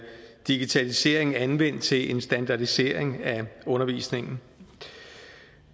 digitalisering anvendt til en standardisering af undervisningen